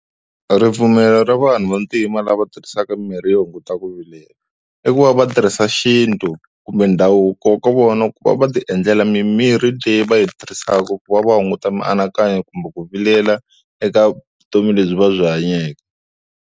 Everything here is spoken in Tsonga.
Ripfumelo ra vanhu vantima lava tirhisaka mimirhi yo hunguta ku vilela i ku va va tirhisa xintu kumbe ndhavuko wa ka vona ku va va ti endlela mimirhi leyi va yi tirhisaka ku va va hunguta mianakanyo kumbe ku vilela eka vutomi lebyi va byi hanyeke.